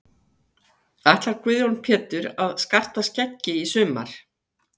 Ætlar Guðjón Pétur að skarta skeggi í sumar?